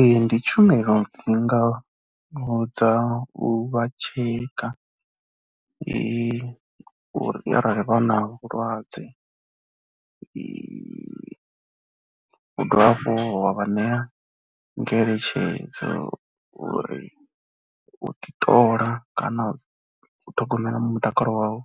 Ee ndi tshumelo dzi ngaho dza u vha tsheka uri arali vha na vhulwadze, u dovha hafhu wa vha ṋea ngeletshedzo uri u ḓiṱola kana u ṱhogomela mutakalo wau